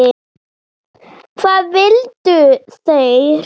Hvað vildu þeir?